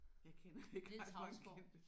Jeg kender ikke ret mange kendte